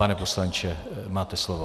Pane poslanče, máte slovo.